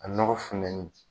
A nɔgɔɔ funtɛni